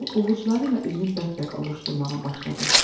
O, ovucuları ilə üzünü bəp-bəp ovuşdurmağa başladı.